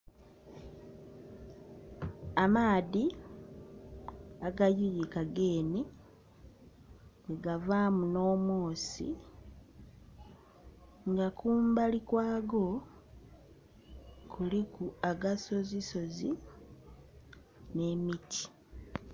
Amaadhi agayuyika genhe ke gavaamu nh'omwosi, nga kumbali kwago kuliku agasozisozi nh'emiti.